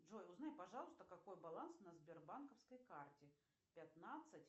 джой узнай пожалуйста какой баланс на сбербанковской карте пятнадцать